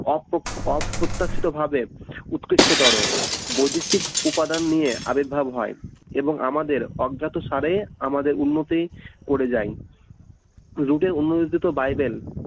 অপ অপ্রত্যাশিতভাবে উৎকৃষ্টতর বৈদেশিক উপাদান নিয়ে আবির্ভাব হয় এবং আমাদের অজ্ঞাতসারে আমাদের উন্নতি করে যাই রুটের উন্নতিতে তো বাইবেল